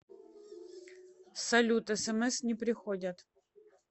салют смс не приходят